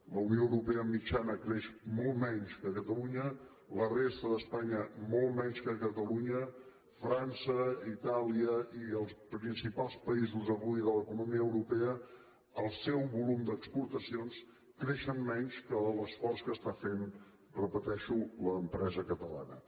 la unió europea mitjana creix molt menys que catalunya la resta d’espanya molt menys que catalunya frança itàlia i els principals països avui de l’economia europea el seu volum d’exportacions creix menys que l’esforç que està fent ho repeteixo l’empresa catalana